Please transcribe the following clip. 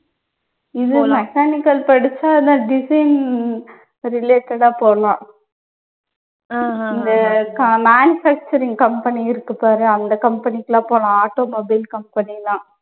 இது mechanical படிச்சா அதான் designing related ஆ போலாம். இந்த க manufacturing company இருக்கு பாரு அந்த company க்கு எல்லாம் போலாம் automobile company எல்லாம்.